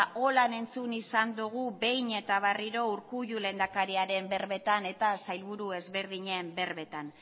horrela entzun izan dogu behin eta berriro urkullu lehendakariaren berbetan eta sailburu ezberdinen berbetan